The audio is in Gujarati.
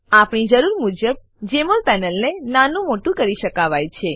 આપણી જરૂર મુજબ જમોલ પેનલને નાનું મોટું કરી શકાવાય છે